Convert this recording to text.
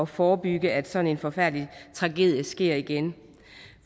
forebygge at sådan en forfærdelig tragedie sker igen